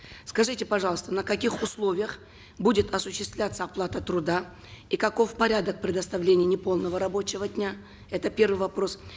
скажите пожалуйста на каких условиях будет осуществляться оплата труда и каков порядок предоставления неполного рабочего дня это первый вопрос